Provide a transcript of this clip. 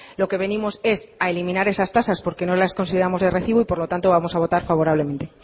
lo que venimos es a eliminar esas tasas porque no las consideramos de recibo por lo tanto vamos a votar favorablemente